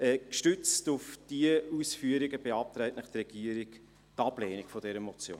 Gestützt auf diese Ausführungen beantragt Ihnen die Regierung die Ablehnung dieser Motion.